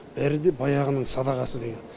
бәрі де баяғының садағасы деген